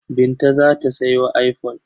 Binta za ta sayo iphone.